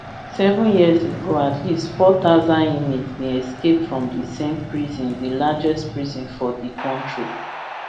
seven years ago at least four thousand inmates bin escape from di same prison di largest prison for di kontri